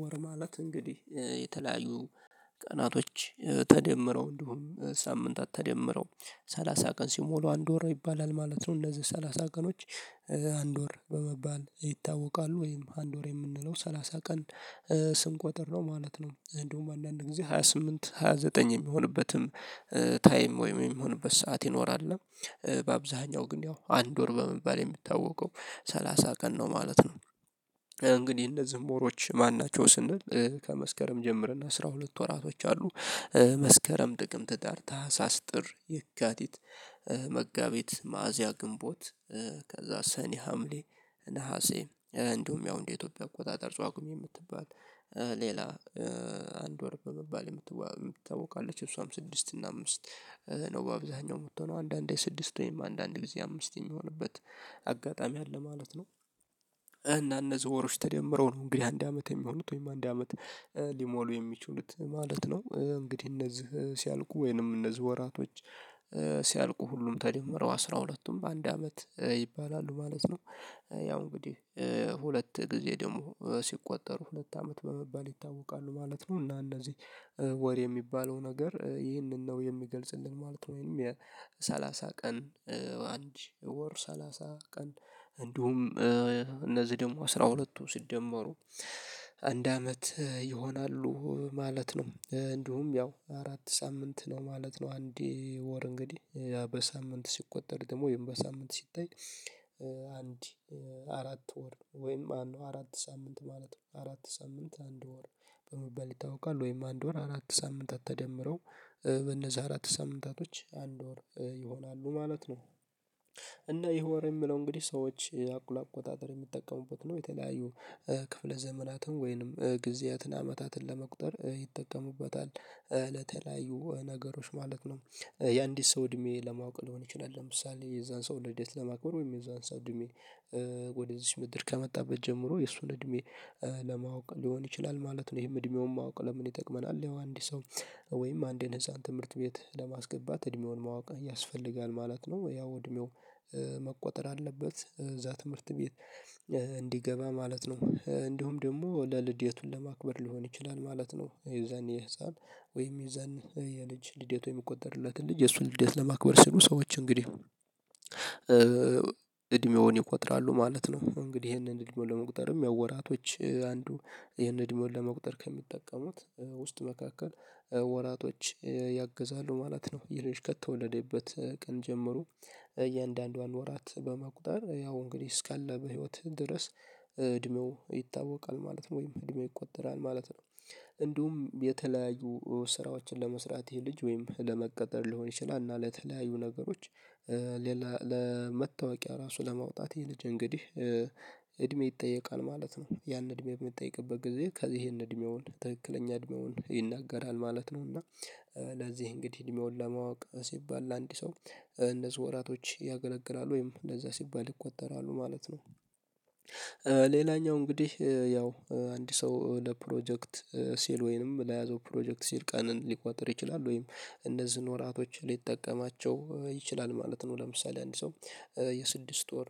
ወር ማለት እንግዲህ የተለያዩ ቀናቶች ተደምረው እንደሁም ሳምንታት ተደምረው ሰላሳ ቀን ሲሞሉ አንድ ወር ይባላል ማለት ነው እንደዚህ ሰላሳ ቀኖች አንድ ወር በመባል ይታወቃሉ። ወይም አንድ ወር የምንለው ሰላሳ ቀን ስንቆጥር ነው ማለት ነው እንደሁም አንዳንድ ጊዜ ሃያ ስምንት ሃያ ዘጠኝ የሚሆንበትም ታይም ወይም የሚሆንበት ሰዓት ይኖራል እና በአብዛኛው ግን ያው አንድ ወር በመባል የሚታወቀው ሰላሳ ቀን ነው ማለት ነው። እንግዲህ እነዚህ ወሮች ማን ናቸው ስንል ከመስከረም ጀምርና አስራ ሁለት ወራቶች አሉ መስከረም፤ ጥቅምት፤ ህዳር፤ ታህሳስ፤ ጥር የካቲት፤ መጋቢት፤ ሚያዚያ፤ ግንቦት ከዛ ሰኔ፤ ሀምሌ፤ ነሀሴ እንዲሁም ያው እንደ ኢትዮጵያ አቆጣጠር ጷግሜ የምትባል ሌላ አንድ ወር በመባል የምታቅወቅ አለች። እሷም ስድስት እና አምስት ነው በአብዛኛው ምቶነው። አንዳንዴ ስድስት ወይም አንዳንዴ ጊዜ አምስት የሚሆነበት አጋጣሚ አለ ማለት ነው እና እነዚ ወሮች ተደምረው ነው እንግዲህ አንድ አመት የሚሆኑት ወይም አንድ አመት ሊሞሉ የሚችሉት ማለት ነው። እንግዲህ እነዚህ ሲያልቁ ወይንም እነዚህ ወራቶች ሲያልቁ ሁሉም ተደመረው አስራ ሁለቱም አንድ አመት ይባላሉ ማለት ነው። ያው እንግዲህ ሁለት ጊዜ ደግሞ ሲቆጠሩ ሁለት አመት በመባል ይታወቃሉ ማለት ነው። እና እነዚህ ወር የሚባለው ነገር ይህንን ነው የሚገልጽልን ማለት ነው። ወይም የሰላሳ ቀን አንድ ወር ሰላሳ ቀን እንዲሁም እነዚህ ደግሞ አስራ ሁለት ወር ሲደመሩ አንድ አመት ይሆናሉ ማለት ነው። እንዲሁም ያው አራት ሳምንት ነው ማለት ነው አንድ ወር እንግዲህ። በሳምንት ሲቆጠር ደግሞ ወይም በሳምንት ሲታይ አንድ አራት ወር ወይም አራት ሳምንት ማለት ነው፤ አራት ሳምንት አንድ ወር በመባል ይታውቃል። ወይም አንድ ወር አራት ሳምንታት ተደምረው በነዛ አራት ሳምንታቶች አንድ ወር ይሆናሉ ማለት ነው። እና ይሄ ወር የምለው እንግዲህ ሰዎች ለአቆጣጠር የሚጠቀሙበት ነው። የተለያዩ ክፍለ ዘመናትን ወይንም ጊዜያትን አመታትን ለመቁጠር ይጠቀሙበታል። ለተለያዩ ነገሮች ማለት ነው። የአንድ ሰው እድሜ ለማወቅ ሊሆን ይችላል ለምሳሌ የዛን ሰው ልደት ለማክበር ወይም የዛን ሰው እድሜ ወደ እዚች ምድር ከመጣበት ጀምሮ የእሱን እድሜ ለማወቅ ሊሆን ይችላል ማለት ነው። ይሄም እድሜውን ማወቅ ለምን ይጠቅመናል ያው አንድ ሰው ወይም አንድን ህፃን ትምህርት ቤት ለማስገባት እድሜውን ማወቅ ያስፈልጋል ማለት ነው። ያው እድሜው መቆጠር አለበት። እዛ ትምህርት ቤት እንዲገባ ማለት ነው። እንዲሁም ደግሞ ለልደቱን ለማክበር ሊሆን ይችላል ማለት ነው የዛን የህፃን ወይም የዛን የልጅ ልዴት የሚቆጠርለትን ልጅ የሱን ልዴት ለማክበር ስሉ ሰዎች እንግዲህ እድሜውን ይቆጥራሉ ማለት ነው። እንግዲህ ይሄንን እድሜውን ለመቁጠርም ወራቶች አንዱ ይሄንን እድሜውን ለመቁጠር ከሚጠቀሙት ውስጥ መካከል ወራቶች ያግዛሉ ማለት ነው። ይህ ልጅ ከተወለደበት ቀን ጀምሮ እያንዳንዷን ወራት በመቁጠር ያው እንግዲህ እስከለ ህይወትህ ድረስ እድሜው ይታወቃል ማለት ነው ወይም እድሜው ይቆጠራል ማለት ነው። እንዲሁም የተለያዩ ስራዎችን ለመስራት ይሄ ልጅ ወይም ለመቀጠር ሊሆን ይችላል እና ለተለያዩ ነገሮች ለመታወቂያ ራሱ ለማውጣት ይሄ ልጅ እንግዲህ እድሜ ይጠየቃል ማለት ነው። ያንን እድሜ በሚጠይቅበት ጊዜ ይሄንን እድሜውን ትክክለኛ እድሜውን ይናገራል ማለት ነው እና ለዚህ እንግዲህ እድሜውን ለማወቅ ሲባል ለአንድ ሰው እንነዚህ ወራቶች ያገለግላሉ። ወይም እንደዛ ሲባል ይቆጠራሉ ማለት ነው ሌላኛው እንግዲህ ያው አንድ ሰው ለፕሮጀክት ሲል ወይንም ለያዘው ፕሮጀክት ሲል ቀንን ሊቆጥር ይችላል ወይም እንደዚህ ኖራቶች ሊጠቀማቸው ይችላል ማለት ነው። ለምሳሌ አንድ ሰው የስድስት ወር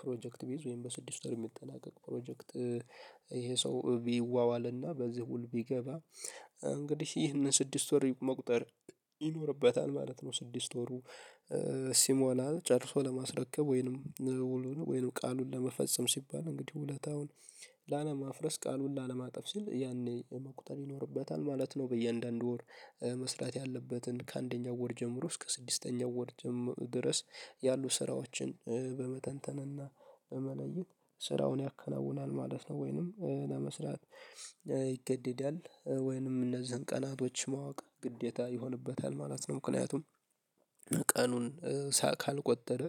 ፕሮጀክት ቢይዝ ወይም በስድስት ወር የሚጠናቀቅ ፕሮጀክት ይሄ ሰው ቢዋዋልና በዚህ ውል ቢገባ እንግዲህ ይህንን ስድስት ወር መቁጠር ይኖርበታል ማለት ነው። ስድስት ወሩ ሲሞላ ጨርሶ ለማስረከብ ወይንም ውሉን ወይንም ቃሉን ለመፈጸም ሲባል እንግዲህ ውለታውን ላለማፍረስ ቃሉን ላለማጥፍ ሲል ያኔ መቁጠር ይኖርበታል ማለት ነው። በእያንዳንዱ ወር መስራት ያለበትን ከአንደኛው ወር ጀምሮ እስከ ስድስተኛው ወር ድረስ ያሉ ስራዎችን በመተንተንና በመለየት ስራውን ያከናውናል ማለት ነው ወይንም ለመስራት ይገደዳል ወይንም እነዚህን ቀናቶች ማወቅ ግዴታ ይሆንበታል ማለት ነው ምክንያቱም ቀኑን ካልቆጠረ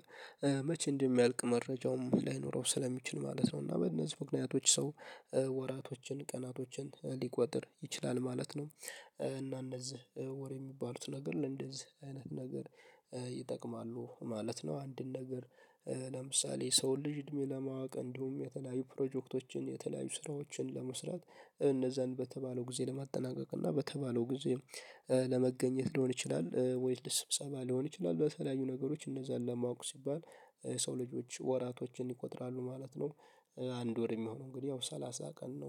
መቼ እንደሚያልቅ መረጃውም ላይኖረው ስለሚችል ማለት ነው እና፤ በእነዚህ ምክንያቶች ሰው ወራቶችን ቀናቶችን ሊቆጥር ይችላል ማለት ነው። እና እነዚህ ወር የሚባሉት ነገር ለእንደዚህ አይነት ነገር ይጠቅማሉ ማለት ነው። አንድን ነገር ለምሳሌ ሰው ልጅ እድሜ ለማወቅ እንዲሁም የተለያዩ ፕሮጀክቶችን፤ የተለያዩ ስራዎችን ለመስራት፤ እነዛን በተባለው ጊዜ ለማጠናቀቅ እና በተባለው ጊዜ ለመገኘት ሊሆን ይችላል ወይስ ስብሰባ ሊሆን ይችላል በተለያዩ ነገሮች እነዛን ለማወቅ ሲባል ሰው ልጆች ወራቶችን ይቆጥራሉ ማለት ነው። አንድ ወር የሚሆነው እንግዲህ ያው ሰላሳ ቀን ነው።